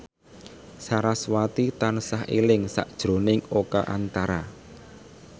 sarasvati tansah eling sakjroning Oka Antara